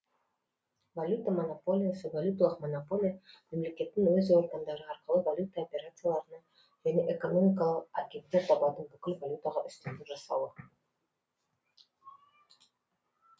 валюта монополиясы валюталық монополия мемлекеттің өз органдары арқылы валюта операцияларына және экономикалық агенттер табатын бүкіл валютаға үстемдік жасауы